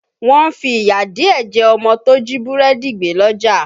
Wọ́n fi ìyà díẹ̀ jẹ ọmọ tó jí búrẹ́dì gbé lọ́jà